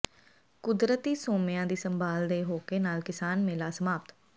ਕੁਦਰਤੀ ਸੋਮਿਆਂ ਦੀ ਸੰਭਾਲ ਦੇ ਹੋਕੇ ਨਾਲ ਕਿਸਾਨ ਮੇਲਾ ਸਮਾਪਤ